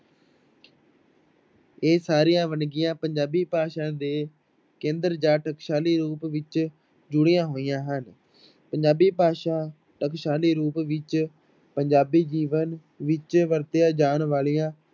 ਇਹ ਸਾਰੀਆਂ ਵੰਨਗੀਆਂ ਪੰਜਾਬੀ ਭਾਸ਼ਾ ਦੇ ਕੇਂਦਰ ਜਾਂ ਟਕਸਾਲੀ ਰੂਪ ਨਾਲ ਜੁੜੀਆਂ ਹੋਈਆਂ ਹਨ, ਪੰਜਾਬੀ ਭਾਸ਼ਾ ਟਕਸਾਲੀ ਰੂਪ ਵਿੱਚ ਪੰਜਾਬੀ ਜੀਵਨ ਵਿੱਚ ਵਰਤੀਆਂ ਜਾਣ ਵਾਲੀਆਂ